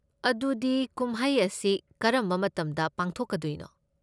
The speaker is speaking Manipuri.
ꯑꯗꯨꯗꯤ ꯀꯨꯝꯍꯩ ꯑꯁꯤ ꯀꯔꯝꯕ ꯃꯇꯝꯗ ꯄꯥꯡꯊꯣꯛꯀꯗꯣꯏꯅꯣ?